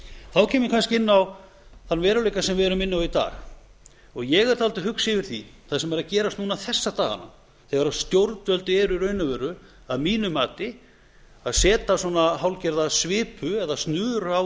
þá kem ég kannski inn á þann veruleika sem við erum inni á í dag ég er dálítið hugsi yfir því sem er að gerast núna þessa dagana þegar stjórnvöld eru í raun og veru að mínu mati að setja svona hálfgerða svipu eða snöru á